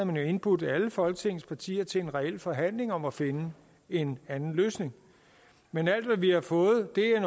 man jo indbudt alle folketingets partier til en reel forhandling om at finde en anden løsning men alt hvad vi har fået er